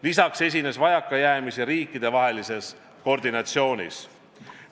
Lisaks esines vajakajäämisi riikidevahelises koordinatsioonis.